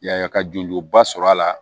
Yaya ka jɔnjoba sɔrɔ a la